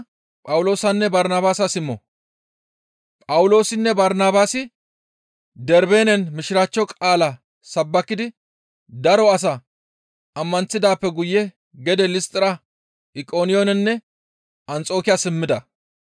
Phawuloosinne Barnabaasi Darbeenen mishiraachcho qaalaa sabbakidi daro asaa ammanththidaappe guye gede Listtira, Iqoniyoonenne Anxokiya simmida.